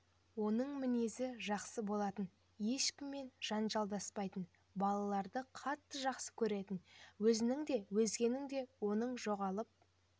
оның мінезі жақсы болатын ешкіммен жанжалдаспайтын балаларды қатты жақсы көретін өзінің де өзгенің де оның жоғалып